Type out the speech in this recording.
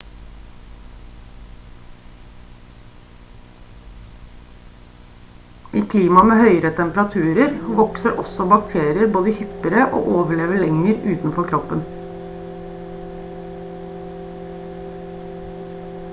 i klima med høyere temperaturer vokser også bakterier både hyppigere og overlever lenger utenfor kroppen